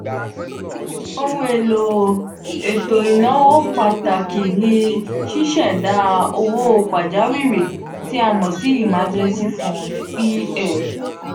ohun elo eto inawo pataki ni ṣiṣẹda owo pajawiri ti a mo si emergency fund(ef).